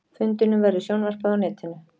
Fundinum verður sjónvarpað á netinu